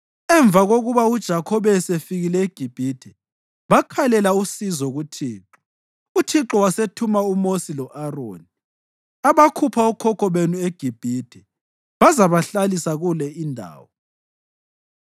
Emva kokuba uJakhobe esefikile eGibhithe, bakhalela usizo kuThixo, uThixo wasethuma uMosi lo-Aroni, abakhupha okhokho benu eGibhithe bazabahlalisa kule indawo.